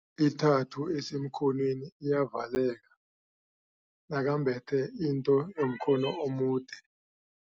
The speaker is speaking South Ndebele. Ithathu esemkhonweni iyavaleka nakembethe into yomkhono omude.